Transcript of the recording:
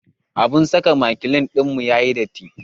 Abun saka makilin ɗinmu ya yi datti.